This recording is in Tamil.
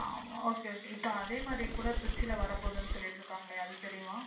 Okay okay அதே மாறி கூட திருச்சில வரப்போகுதுன்னு சொல்லிட்டு இருக்காங்களே அது தெரியுமா?